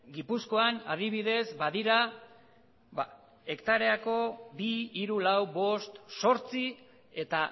gipuzkoan adibidez badira hektareako bi hiru lau bost zortzi eta